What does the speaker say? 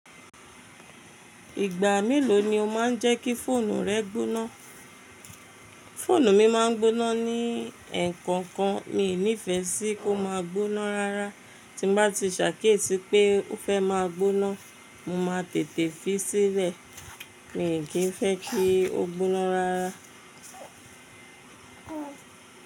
Ìgbà mélòó ni o máa ń jẹ́ kí fóònù rẹ gbóná? Fóònù mi máa ń gbóná ní ẹ̀ẹ̀kọ̀kan. Mi ò ní ìfẹ́ sí kó máa gbóná rárá. Tí bá ti ṣàkíyèsí pé ó fẹ́ máa gbóná, mo máa tètè fi sílẹ̀. Mi ò kí ń fẹ́ kí ó gbóná rárá.